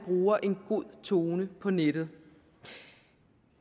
bruger en god tone på nettet